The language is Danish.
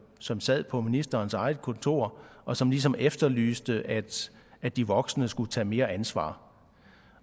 som sad på ministerens eget kontor og som ligesom efterlyste at at de voksne skulle tage mere ansvar